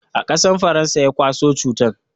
Akasan faransa ya kwaso cutan